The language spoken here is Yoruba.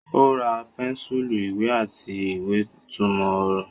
Ó ra pẹ́ńsùlù, ìwé àti ìwé-ìtumọ̀-ọ̀rọ̀.